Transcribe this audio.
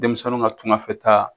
Denmisɛninw ka tunganfɛtaa